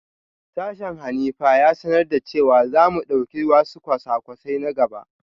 Sashen Hanifa ya sanar da cewa za mu dauki wasu kwasa-kwasai na gaba